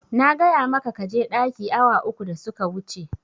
Na gaya maka kaje ɗaki awa uku da suka wuce